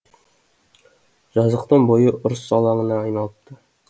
жазықтың бойы ұрыс алаңына айналыпты